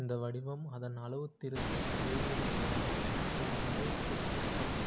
இந்த வடிவம் அதன் அளவுத்திருத்த இடைவெளி மூலமாக ஓர் அளவுத்திருத்தத்தைத்